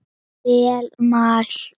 Vel mælt.